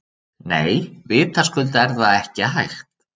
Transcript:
Nei, vitaskuld er það ekki hægt.